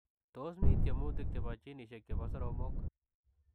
Tos mii tiemutik chepoo jinisiek chepoo soromok ?